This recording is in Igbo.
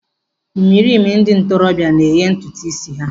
Ịmerime ndị ntorobịa na-eghe ntutu ísí ha.